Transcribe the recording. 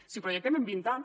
si ho projectem en vint anys